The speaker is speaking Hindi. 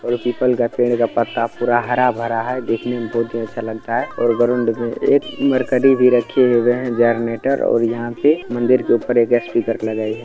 औ पिपाल का पेड़ का पत्ता पूरा हरा भरा है देखने में बहुत ही अच्छा लगता है और ग्राउन्ड में एक रखी हुई है जनरेटर और यहाँ पे मंदिर के ऊपर एक सपीकर लगाई है।